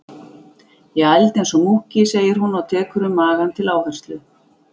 Ég ældi eins og múkki, segir hún og tekur um magann til áherslu.